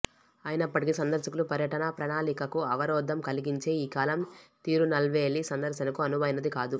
అయినప్పటికీ సందర్శకుల పర్యటనా ప్రణాలికకు అవరోధం కల్గించే ఈ కాలం తిరునల్వేలి సందర్శనకు అనువైనది కాదు